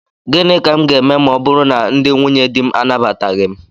Gịnị ka m ga-eme ma ọ bụrụ na ndị nwunyedi m anabataghị m?